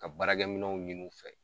Ka baarakɛminɛnw ɲin'u fɛ